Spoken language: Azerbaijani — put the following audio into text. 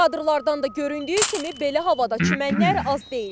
Kadrlardan da göründüyü kimi belə havada çimənlər az deyil.